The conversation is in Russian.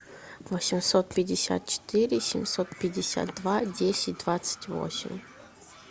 восемьсот пятьдесят четыре семьсот пятьдесят два десять двадцать восемь